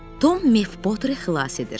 Tom Mefboteri xilas edir.